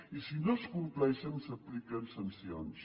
i si no es compleixen s’apliquen sancions